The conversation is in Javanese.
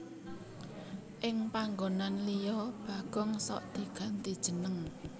Ing panggonan liya Bagong sok diganti jeneng